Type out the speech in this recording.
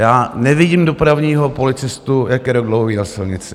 Já nevidím dopravního policistu, jak je rok dlouhý na silnici.